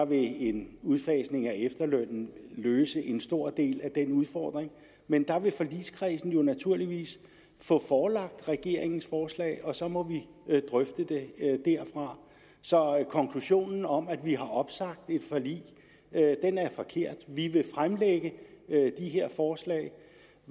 vil en udfasning af efterlønnen løse en stor del af den udfordring men forligskredsen vil jo naturligvis få forelagt regeringens forslag og så må vi drøfte det derfra så konklusionen om at vi har opsagt et forlig er forkert vi vil fremlægge de her forslag